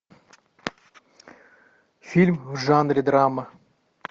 фильм в жанре драма